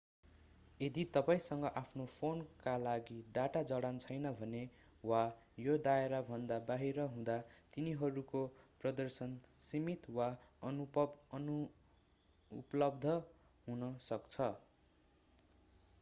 यदि तपाईंसँग आफ्नो फोनका लागि डाटा जडान छैन भने वा यो दायराभन्दा बाहिर हुँदा तिनीहरूको प्रदर्शन सीमित वा अनुपलब्ध हुन सक्छ